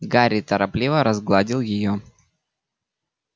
гарри торопливо разгладил её